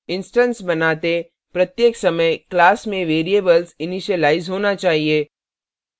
instance बनाते प्रत्येक समय class में variables इनिशीलाइज होना चाहिए